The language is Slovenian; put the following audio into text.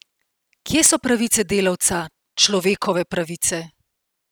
Kje so pravice delavca, človekove pravice?